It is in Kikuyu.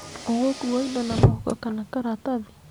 Ũgũkua indo na mũhuko kana karatathi?